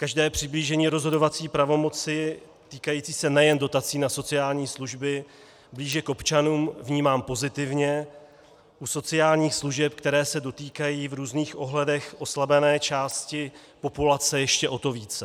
Každé přiblížení rozhodovací pravomoci týkající se nejen dotací na sociální služby blíže k občanům vnímám pozitivně, u sociálních služeb, které se dotýkají v různých ohledech oslabené části populace, ještě o to více.